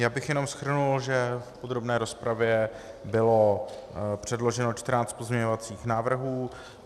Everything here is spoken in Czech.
Já bych jenom shrnul, že v podrobné rozpravě bylo předloženo 14 pozměňovacích návrhů.